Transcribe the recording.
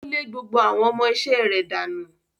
Ó lé gbogbo àwọn ọmọ iṣẹ́ rẹ̀ dànù.